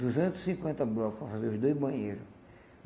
Duzentos e cinquenta bloco para fazer os dois banheiro.